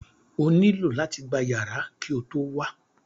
O nílò láti gba yàrá ki o tó wá